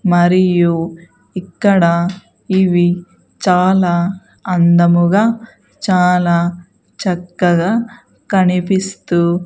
మరియు ఇక్కడ ఇవి చాలా అందముగా చాలా చక్కగా కనిపిస్తూ --